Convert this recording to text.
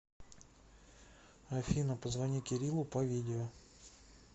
афина позвони кириллу по видео